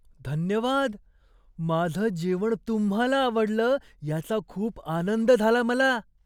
धन्यवाद! माझं जेवण तुम्हाला आवडलं याचा खूप आनंद झाला मला.